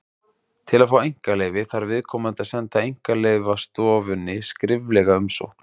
Til að fá einkaleyfi þarf viðkomandi að senda Einkaleyfastofunni skriflega umsókn.